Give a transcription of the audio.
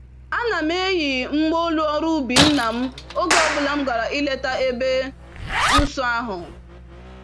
Ana m eyi mgba-olu ọrụ-ubi nna m oge ọ bụla m gàrà ileta ebe nsọ ahụ.